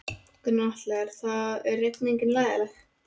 Gunnar Atli: Er það, er rigningin leiðinleg?